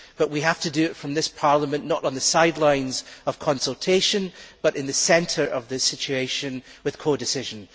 But we have to do that from this Parliament, not on the sidelines of consultation but in the centre of the situation, with codecision.